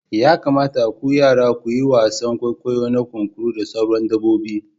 Ya kamata ku yara ku yi wasan kwaikwayo na kunkuru da sauran dabbobi.